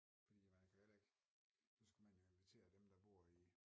Fordi man kan jo heller ikke så skulle man jo invitere dem der bor i